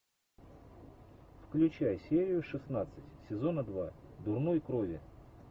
включай серию шестнадцать сезона два дурной крови